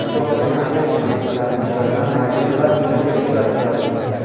Iroqdagi Amerika obyektlari muntazam raketalar hujumiga uchrab turadi.